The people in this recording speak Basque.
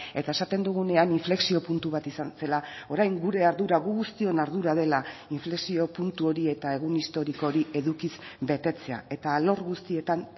eta esaten dugunean inflexio puntu bat izan zela orain gure ardura gu guztion ardura dela inflexio puntu hori eta egun historiko hori edukiz betetzea eta alor guztietan